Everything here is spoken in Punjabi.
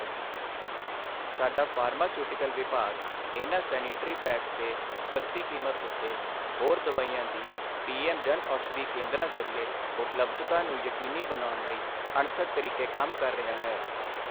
ਸਾਡਾ ਫ਼ਾਰਮਾਸਿਊਟੀਕਲਸ ਵਿਭਾਗ ਇਨ੍ਹਾਂ ਸੈਨਿਟਰੀ ਪੈਡਸ ਤੇ ਸਸਤੀ ਕੀਮਤ ਉੱਤੇ ਹੋਰ ਦਵਾਈਆਂ ਦੀ ਪੀਐੱਮ ਜਨਔਸ਼ਧੀ ਕੇਂਦਰਾਂ ਜ਼ਰੀਏ ਉਪਲਬਧਤਾ ਨੂੰ ਯਕੀਨੀ ਬਣਾਉਣ ਲਈ ਅਣਥੱਕ ਤਰੀਕੇ ਕੰਮ ਕਰ ਰਿਹਾ ਹੈ।